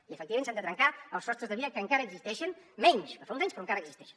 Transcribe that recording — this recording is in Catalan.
i efectivament s’han de trencar els sostres de vidre que encara existeixen menys que fa uns anys però encara existeixen